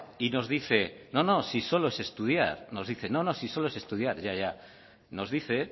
y nos dice no no si solo es estudiar ya ya nos dice